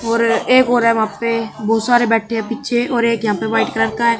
और एक और है वहां पे बहोत सारे बैठे हैं पीछे और एक यहां पे वाइट कलर का--